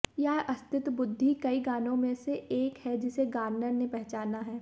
यह अस्तित्व बुद्धि कई गानों में से एक है जिसे गार्नर ने पहचाना है